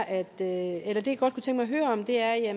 at høre om er